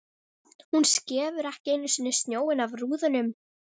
Hún skefur ekki einu sinni snjóinn af rúðunum!